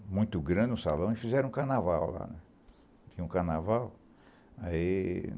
Era muito grande o salão e fizeram um carnaval lá. Um Carnaval...